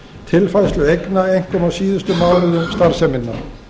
tilfærslu eigna einkum á síðustu mánuðum starfseminnar